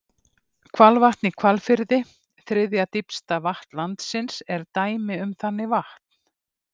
Hvalvatn í Hvalfirði, þriðja dýpsta vatn landsins, er dæmi um þannig vatn.